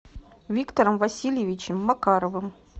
виктором васильевичем макаровым